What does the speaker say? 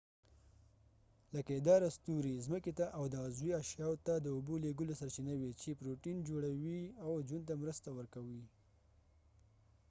لکۍ داره ستوري ځمکې ته او د عضوي اشیاو ته د اوبو لیږلو سرچینه وي چې پروټین جوړوي او ژوند ته مرسته ورکوي